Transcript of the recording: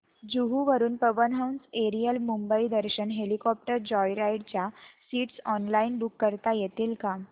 जुहू वरून Pawan Hans aerial Mumbai Darshan helicopter joyride च्या seats online book करता येतील का